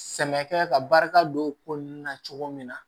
Sɛnɛkɛ ka barika don o ko ninnu na cogo min na